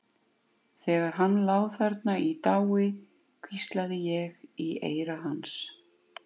Þegar hann lá þarna í dái hvíslaði ég í eyra hans.